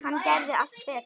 Hann gerði allt betra.